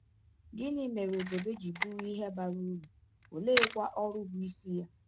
Gịnị mere obodo ji bụrụ ihe bara uru, oleekwa ọrụ bụ isi ya?